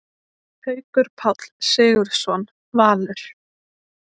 Haukur Páll Sigurðsson, Valur